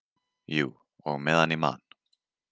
Jú, og meðan ég man.